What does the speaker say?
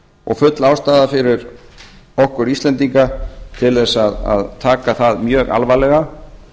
og full ástæða fyrir okkur íslendinga til að taka það mjög alvarlega